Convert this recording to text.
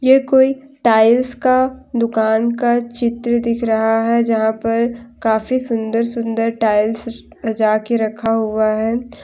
ये कोई टाइल्स का दुकान का चित्र दिख रहा है जहां पर काफी सुंदर सुंदर टाइल्स सजा के रखा हुआ है।